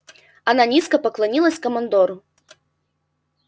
она низко поклонилась командору